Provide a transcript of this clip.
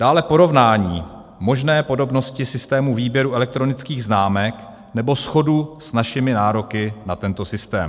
Dále porovnání možné podobnosti systému výběru elektronických známek nebo shodu s našimi nároky na tento systém.